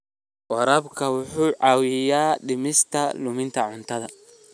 Waraabka wuxuu caawiyaa dhimista luminta cuntada.